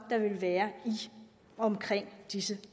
vil være i og omkring disse